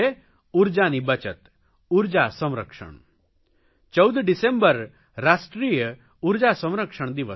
ઉર્જાની બચત ઉર્જા સંરક્ષણ 14 ડિસેમ્બર રાષ્ટ્રીય ઉર્જા સંરક્ષણ દિવસ છે